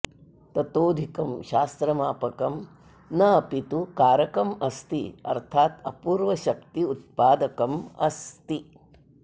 ततोधिकं शास्त्रज्ञापकं न अपि तु कारकम् अस्ति अर्थात् अपूर्वशक्त्युत्पादकम् अस्ति